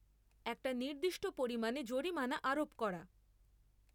একটা নির্দিষ্ট পরিমাণে জরিমানা আরোপ করা।